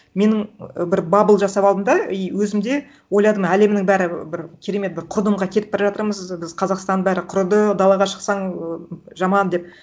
менің бір бабл жасап алдым да и өзім де ойладым әлемнің бәрі бір керемет бір құрдымға кетіп бара жатырмыз біз қазақстан бәрі құрыды далаға шықсаң і жаман деп